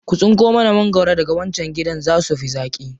Ku tsinko mana magwaro daga wancan gidan, za su fi zaƙi.